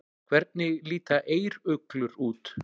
Hvernig líta eyruglur út?